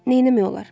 Neynəmək olar?